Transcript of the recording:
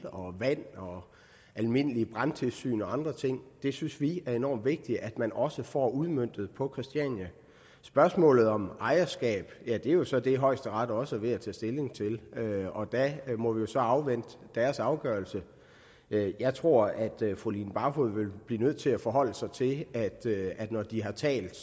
vand almindeligt brandtilsyn og andre ting det synes vi er enormt vigtigt at man også får udmøntet på christiania spørgsmålet om ejerskab er jo så det højesteret også er ved at tage stilling til og der må vi så afvente deres afgørelse jeg tror at fru line barfod vil blive nødt til at forholde sig til at når de har talt